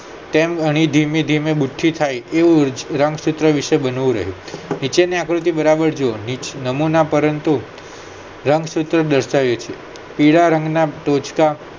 તેમ અણી ધીમેધીમે બુઠી થાય એવું રંગસૂત્ર વિશે બનવું રહ્યું નીચેની આકૃતિ બરાબર જુવો નમૂના પરંતુ રંગસૂત્ર દર્શાવે છે પીળા રંગના ટોચકાં